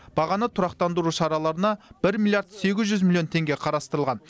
бағаны тұрақтандыру шараларына бір миллиард сегіз жүз миллион теңге қарастырылған